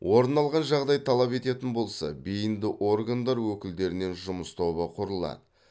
орын алған жағдай талап ететін болса бейінді органдар өкілдерінен жұмыс тобы құрылады